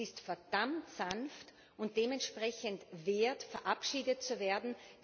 Es ist verdammt sanft und dementsprechend wert, verabschiedet zu werden.